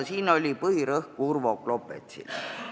Siin oli põhirõhk Urvo Klopetsil.